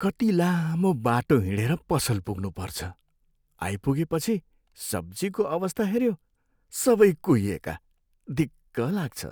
कति लामो बाटो हिँडेर पसल पुग्नुपर्छ, आइपुगेपछि सब्जीको अवस्था हेऱ्यो, सबै कुहिएका। दिक्क लाग्छ।